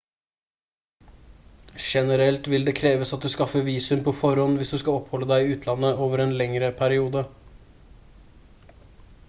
generelt vil det kreves at du skaffer visum på forhånd hvis du skal oppholde deg i utlandet over en lengre periode